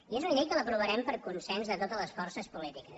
i és una llei que l’aprovarem per consens de totes les forces polítiques